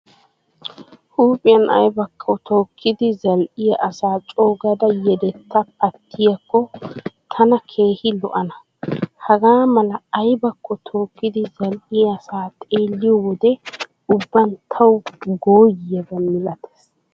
Huuphiyan aybakko tookkidi zal"iya asa coogada yedetaa paattiyaakko tana keehi lo"ana. Hagaa mala aybakko tookkidi zal"iya asa xeelliyo wode ubban tawu gooyyiyaaba milatees.